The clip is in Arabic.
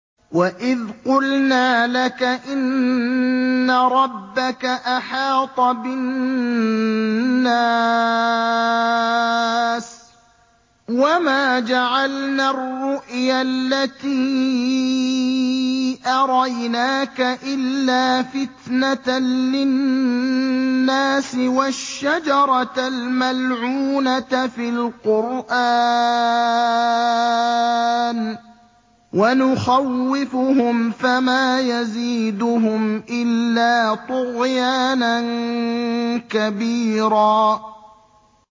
وَإِذْ قُلْنَا لَكَ إِنَّ رَبَّكَ أَحَاطَ بِالنَّاسِ ۚ وَمَا جَعَلْنَا الرُّؤْيَا الَّتِي أَرَيْنَاكَ إِلَّا فِتْنَةً لِّلنَّاسِ وَالشَّجَرَةَ الْمَلْعُونَةَ فِي الْقُرْآنِ ۚ وَنُخَوِّفُهُمْ فَمَا يَزِيدُهُمْ إِلَّا طُغْيَانًا كَبِيرًا